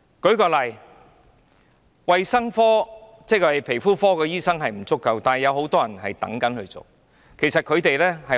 舉例說，對於皮膚科醫生不足的情況，其實很多人想做，但卻